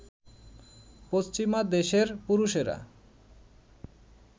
পশ্চিমা দেশের পুরুষেরা